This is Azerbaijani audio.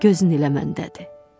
Gözün elə məndədir.